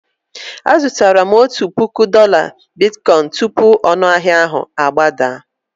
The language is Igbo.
Azụtara m otu puku dola bitkoịn tupu ọnụahịa ahụ agbadaa.